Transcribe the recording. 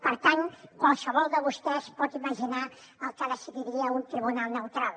per tant qualsevol de vostès pot imaginar el que decidiria un tribunal neutral